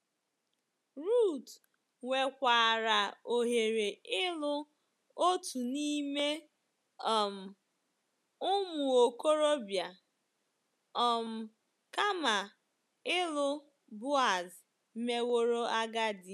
Ruth nwekwaara ohere ịlụ otu n’ime um “ụmụ okorobịa” um kama ịlụ Boaz meworo agadi